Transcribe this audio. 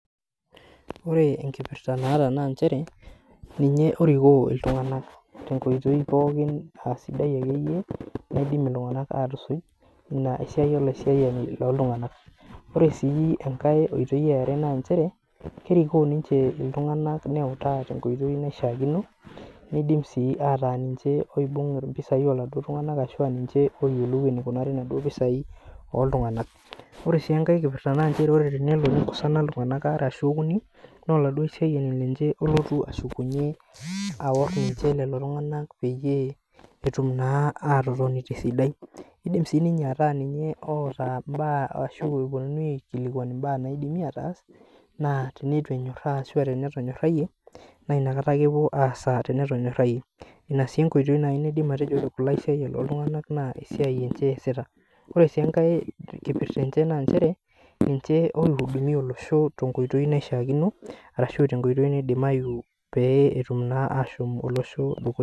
Ore enkipirta naata naa nchere ninye orikoo iltunganak tenkoitoi pookin aa sidai ekeyie ,naidim iltunganak atusuj. Ina esiai olaisiayani looltungank. Ore sii enkae oitoi eare naa nchere, kerikooo ninche iltunganak neutaa tenkoitoi naishaakino ,nindim sii ataa ninche oibungita naduo pisia oladuo tungani ashu niche oiyiolo enikunaru naduo pisai oltunganak. Ore sii enkae kipirta naa nchere ore pee eikosana iltunganak waare ashu okuni naa oladuo aisiayiani lenche olotu ashukunye aor lelo tunganak peyie etum na atotoni tesidai. Idim sii ninche ataa ninye oota mbaa ashu eponunui aikilikwan mbaa naidim ataas naa teneitu enyorata ashu tenetonyorayie naa inakata ake epuo aasa tenetonyorayie. Ina sii esiai naidim atejo ore kulo aisiayiak looltunganak naa ninye eesita. Ore enkipirta enye naa ninche oidumiya olosho tenkoitoi naishaakino, arashu tenkoitoi naidimayu pee etum naa olosho ashom dukuya.